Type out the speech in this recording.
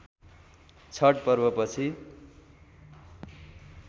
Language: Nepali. छठ पर्वपछि